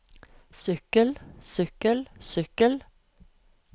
sykkel sykkel sykkel